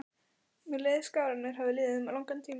Mér leið skár en mér hafði liðið um langan tíma.